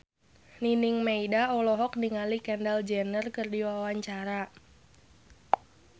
Nining Meida olohok ningali Kendall Jenner keur diwawancara